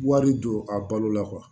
Wari don a balo la